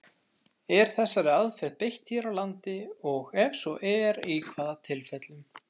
Er þessari aðferð beitt hér á landi, og ef svo er, í hvaða tilfellum?